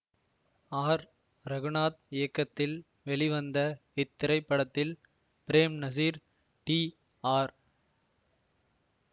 R Raghunath இயக்கத்தில் வெளிவந்த இத்திரைப்படத்தில் பிரேம்நசீர் டி ஆர்